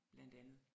Blandt andet